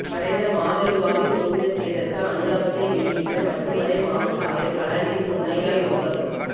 மறைந்த மாதுலுவாவே சோபித தேரர்க்கு அனுதாபத்தை வெளியிட்ட மட்டு மறை மாவட்ட ஆயர் கலாநிதி பொன்னையா யோசப்